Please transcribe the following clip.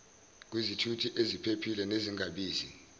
kwizithuthi eziphephile nezingabizi